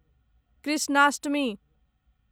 Krishnashtami